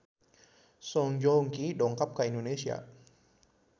Song Joong Ki dongkap ka Indonesia